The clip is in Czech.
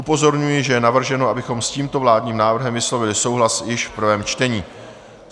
Upozorňuji, že je navrženo, abychom s tímto vládním návrhem vyslovili souhlas již v prvém čtení.